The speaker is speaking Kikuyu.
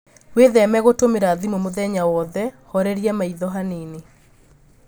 Wĩtheme gũtũmira thimũ mũthenya wothe, horeria maitho hanini